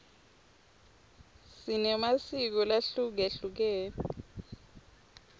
sinemasiko lahlukehlukene